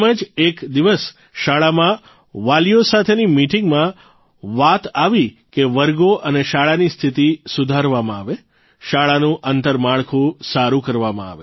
એમ જ એક દિવસ શાળામાં વાલીઓ સાથેની મિટીંગમાં વાત આવી કે વર્ગો અને શાળાની સ્થિતિ સુધારવામાં આવે શાળાનું આંતરમાળખું સારૂં કરવામાં આવે